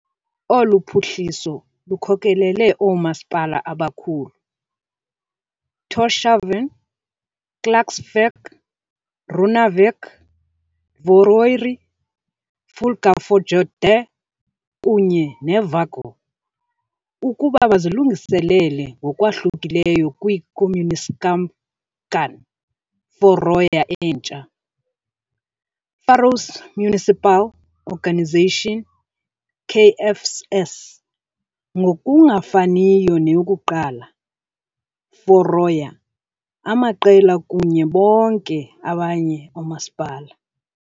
Olu phuhliso lukhokelele oomasipala abakhulu, Tórshavn, Klaksvík, Runavík, Tvøroyri, Fuglafjørður kunye ne Vágur, ukuba bazilungiselele ngokwahlukileyo kwi-Kommunusamskipan Føroya entsha, Faroese Municipal, Organisation, KFS, ngokungafaniyo neyokuqala, Føroya, amaqela kunye bonke abanye oomasipala.